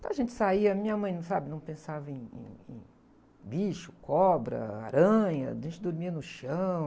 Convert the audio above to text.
Então a gente saía, minha mãe não, sabe? Não pensava em, em, em bicho, cobra, aranha, a gente dormia no chão.